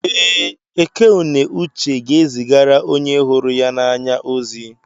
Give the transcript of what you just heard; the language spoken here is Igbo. Ee, Eké-ùnè uche ga-ezigara onye hụrụ ya n'anya ozi.